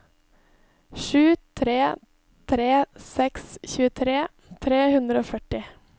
sju tre tre seks tjuetre tre hundre og førti